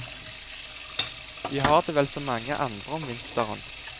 Vi har det vel som mange andre om vinteren.